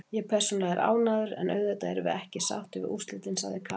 Ég persónulega er ánægður, en auðvitað erum við ekki sáttir við úrslitin, sagði Kaka.